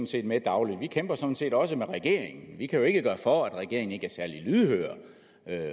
set med dagligt vi kæmper sådan set også med regeringen vi kan jo ikke gøre for at regeringen ikke er særlig lydhør